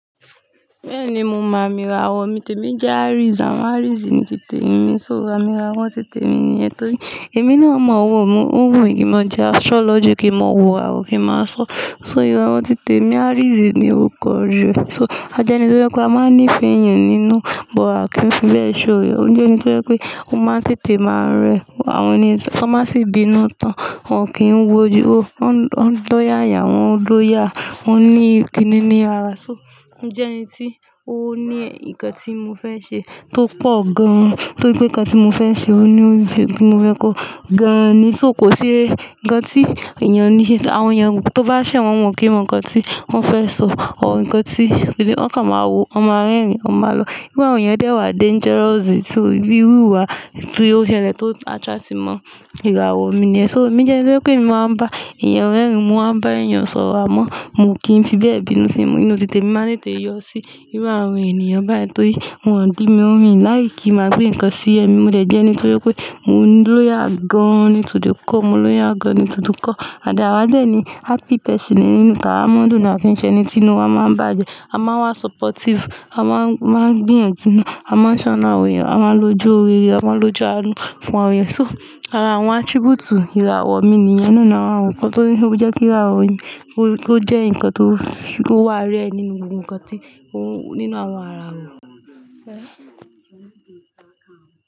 Bẹ́ẹ̀ni, mo mọ àmì ìràwọ̀ mi, tèmí jẹ́ Aries, àwọn Aries ni titè mi, só aami rawọ́ titè mi nìyẹn. Tóri, èmi náà mọ òwò mu, ó wù mí kí n mọ di astrology, kí n mọ wò ràwọ̀ kí n máa sọ, só ìrọ̀ wọn titè mi Aries ni ó kọrí. So, a jẹ́ ẹni tó fẹ́ pé a máa ń nífẹ̀ẹ́ èèyàn nínú, but a kì í fi bẹ́ẹ̀ ṣòro. Ó jẹ́ ẹni tó fẹ́ pé ó máa ń tètè máa ń rẹ àwọn ènìyen tan bá sì bínú tán, wọ́n kì í wo jù ú, wọ́n ń dòyà yà wọ́n ń lòyà, wọ́n ní ìkínni ní ara. So, ó jẹ́ ẹni tí ó ní nǹkan tí mo fẹ́ ṣe tó pọ̀ gan-an, tó í pé nǹkan tí mo fẹ́ ṣe ó ní òbí tí mo fẹ́ kó gan-an ni. So kò sí ǹkan tí èèyàn ní ṣe, àwọn èèyàn tó bá ṣẹ̀ wọ́n wọ́n kì í mọ ǹkan tí wọ́n fẹ́ sọ or nkan tí bí i, wọ́n kàn máa wo, wọ́n máa rẹ́rìn-ín, wọ́n máa lọ. Bí iru àwọn èèyàn dé wá dangerous, so bí iru wà tí i ó ṣẹlẹ̀ tó attract mọ ìràwọ̀ mi niyẹn. So emí jẹ́ ẹni tó jẹ́ pé mo máa ń bá èèyàn rẹ́rìn-ín, mo máa ń bá èèyàn sọ̀rọ̀ ámọ́, mi o kìn fi bẹ́ẹ̀ bínú sí mi. Nínú titè mi máa ń tètè yọ sí inú àwọn ènìyàn báyìí, tórí wọ́n ò dí mi mi láì kí n máa gbé ǹkan sí ẹ̀ mi. Mo dẹ̀ jẹ́ ẹni tó jẹ́ pé mò ń loyal gan-an ní tò the core, mò ń loyal gan-an ní tò the core. And then àwàde ni happy person nínú tá wa máa ń dùni a o kin ń ṣe ẹni tí inú wa máa ń bàjẹ́, a máa ń wá supportive, a máa ń, máa ń gbìyànjú nù, a máa ń ṣọ́nà awon eeyàn, a máa ń lojú òrere, a máa ń lojú alúfùn àwọn èèyàn. To, ara àwọn attribute ìràwọ̀ mi nìyẹn nínú àwọn ǹkan tó ní, ó jẹ́ kí irawo èèyàn, ó jẹ́ ǹkan tó, tó wà rare nínú ohun kan tí ó, nínú àwọn ara wa.